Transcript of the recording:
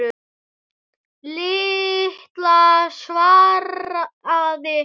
Lilla svaraði ekki.